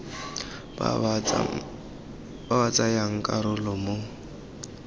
ba ba tsayang karolo mo